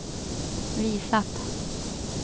visat